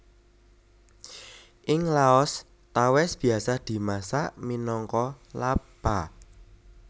Ing Laos tawès biasa dimasak minangka Lap Pa